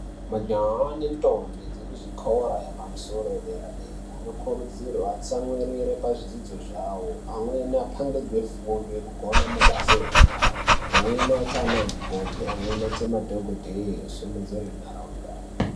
Majaha nentombi dzekuzvikora yepamusoro yederadera dera anokurudzirwa atsamwirire pazvidzidzo zvawo amweni apangidzwe fundo yekugona mabasa enyara amweni aite ana mukoti amweni aite madhokodheye simudzire ntaraunda.